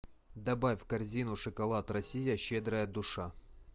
добавь в корзину шоколад россия щедрая душа